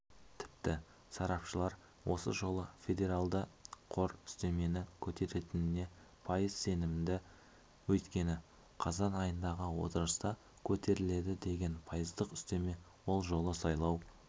тіпті сарапшылар осы жолы федералды қор үстемені көтеретініне пайыз сенімді өйткені қазан айындағы отырыста көтеріледі деген пайыздық үстеме ол жолы сайлау